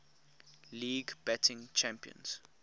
league batting champions